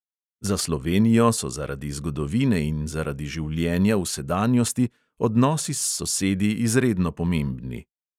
Za slovenijo so zaradi zgodovine in zaradi življenja v sedanjosti odnosi s sosedi izredno pomembni.